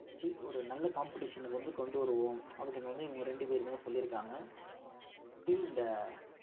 ஒரு நல்ல competition க்கு வந்து கொண்டு வருவோம் அப்படின்னு வந்து இவங்க ரெண்டு பேருமே சொல்லியிருக்காங்க இந்த